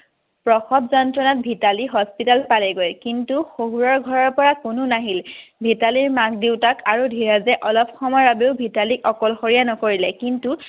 প্ৰসব যন্ত্ৰত মিতালী হস্পিটেল পালেগৈ কিন্তু শসুৰৰ ঘৰৰ পৰা কোনো নাহিল। মিতালীৰ মাক দেউতাক আৰু ধীৰজে অলপ সময়ৰ বাবেও মিতালীক অকলশৰীয়া নকৰিলে কিন্তু